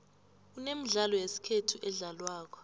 kunemidlalo yesikhethu edlalwako